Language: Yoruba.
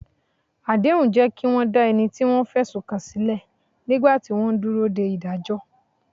Àdéhùn jẹ́ kí wọ́n dá ẹni tí wọ́n fẹ̀sùn kàn sílẹ̀ nígbà tí wọ́n ń dúró de ìdájọ́.